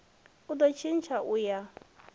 u do tshintsha u ya